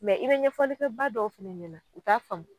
i be ɲɛfɔli kɛ ba dɔw fɛnɛ ɲɛna u t'a faamu.